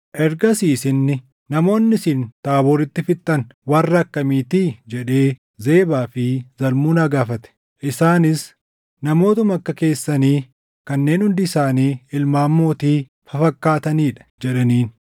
Ergasiis inni, “Namoonni isin Taabooritti fixxan warra akkamiitii?” jedhee Zebaa fi Zalmunaa gaafate. Isaanis, “Namootuma akka keessanii kanneen hundi isaanii ilmaan mootii fafakkaatanii dha” jedhaniin.